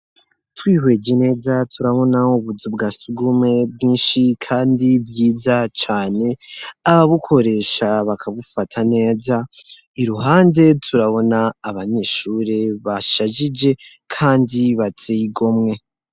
Twihweje neza turabonaho ubuzu bwa sugumwe bwinshi kandi bwiza cane ababukoresha bakabufata neza iruhande turabona abanyeshure bashajije kandi bateye igomwe.